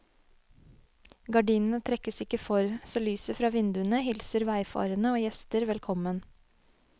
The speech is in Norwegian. Gardinene trekkes ikke for, så lyset fra vinduene hilser veifarende og gjester velkommen.